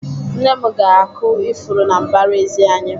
Nne m ga-akụ ifuru na mbaraezi anyị.